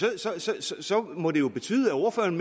altså så må det jo betyde at ordføreren